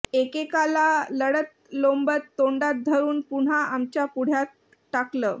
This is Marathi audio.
एकेकाला लळतलोंबत तोंडात धरून पुन्हा आमच्या पुढ्यात टाकलं